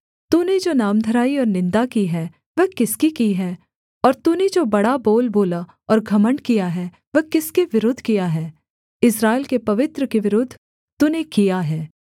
तूने जो नामधराई और निन्दा की है वह किसकी की है और तूने जो बड़ा बोल बोला और घमण्ड किया है वह किसके विरुद्ध किया है इस्राएल के पवित्र के विरुद्ध तूने किया है